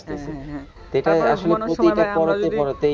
আহ এটাও আসলে প্রতিটা পরতে পরতেই,